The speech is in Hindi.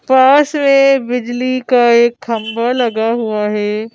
पास में बिजली का एक खंबा लगा हुआ है।